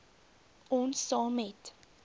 ons saam met